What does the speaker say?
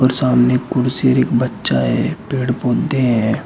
सामने कुर्सी और एक बच्चा है पेड़ पौधे हैं।